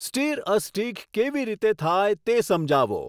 stir a stick કેવી રીતે થાય તે સમજાવો